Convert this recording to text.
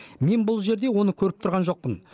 мен бұл жерде оны көріп тұрған жоқпын